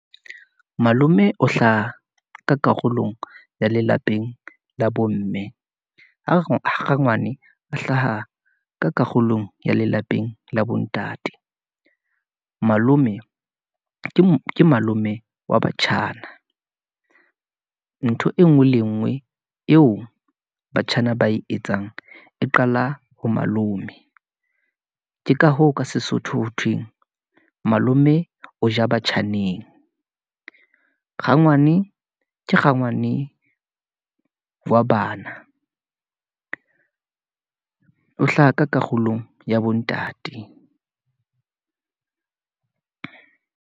Malome o hlaha ka karolong ya lelapeng la bomme, ha rangwane a hlaha ka karolong ya lelapeng la bo ntate. Malome ke malome wa batjhana , ntho engwe le engwe eo batjhana ba e etsang, e qala ho malome. Ke ka hoo ka sesotho ho thweng, malome o ja batjhaneng. Rangwane ke rangwane wa bana , o hlaha ka karolong ya bo ntate.